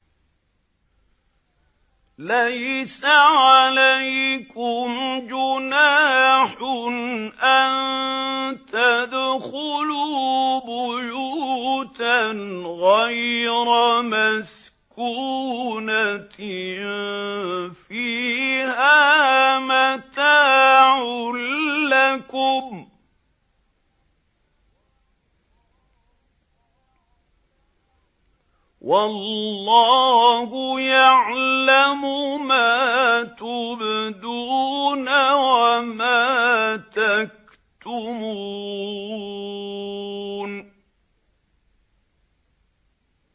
لَّيْسَ عَلَيْكُمْ جُنَاحٌ أَن تَدْخُلُوا بُيُوتًا غَيْرَ مَسْكُونَةٍ فِيهَا مَتَاعٌ لَّكُمْ ۚ وَاللَّهُ يَعْلَمُ مَا تُبْدُونَ وَمَا تَكْتُمُونَ